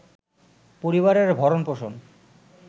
পরিবারের ভরণ-পোষণ